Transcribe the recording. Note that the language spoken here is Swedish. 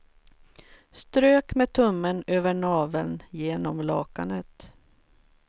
Strök med tummen över naveln genom lakanet.